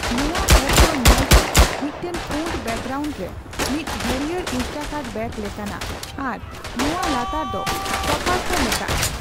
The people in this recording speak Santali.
ᱱᱚᱣᱟ ᱮᱯ ᱫᱚ ᱧᱮᱞᱛᱮ ᱢᱤᱫᱴᱟᱝ ᱯᱩᱸᱰ ᱵᱮᱠᱜᱨᱟᱣᱩᱱᱰ ᱨᱮ ᱢᱤᱫ ᱦᱟᱹᱨᱤᱭᱟᱹᱲ ᱤᱱᱥᱴᱟᱠᱟᱨᱴ ᱵᱮᱜᱽ ᱞᱮᱠᱟᱱᱟ ᱟᱨ ᱱᱚᱣᱟ ᱞᱟᱛᱟᱨ ᱫᱚ ''ᱥᱚᱯᱟᱨ'' ᱠᱚ ᱢᱮᱛᱟᱜᱼᱟ ᱾